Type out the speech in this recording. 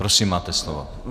Prosím, máte slovo.